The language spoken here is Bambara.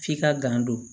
F'i ka gan don